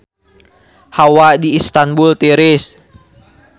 Hawa di Istanbul tiris